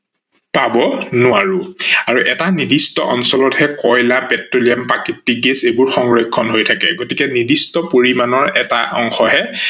পাব নোৱাৰো। আৰু এটা নিৰ্দিষ্ট অঞ্চলতহে কয়লা, পেট্ৰলিয়াম, প্ৰাকৃতিক গেছ এইবোৰ সংৰক্ষন হৈ থাকে গতিকে নিৰ্দিষ্ট পৰিমানৰ এটা অংশহে